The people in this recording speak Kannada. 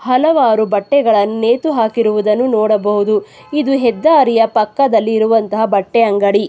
ಹಲವಾರು ಬಟ್ಟೆಗಳನ್ನು ನೇತು ಹಾಕಿರುವುದನ್ನು ನೋಡಬಹುದು ಇದು ಹೆದ್ದಾರಿಯ ಪಕ್ಕದಲ್ಲಿರುವಂತಹ ಬಟ್ಟೆಯಂಗಡಿ.